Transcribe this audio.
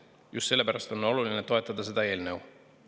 Just sellepärast on oluline toetada seda eelnõu.